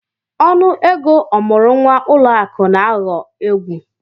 Ọnụ ego ọmụrụ nwa ụlọ akụ na-aghọ egwu.